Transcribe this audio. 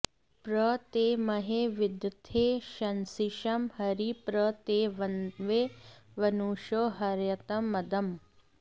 प्र ते॑ म॒हे वि॒दथे॑ शंसिषं॒ हरी॒ प्र ते॑ वन्वे व॒नुषो॑ हर्य॒तं मद॑म्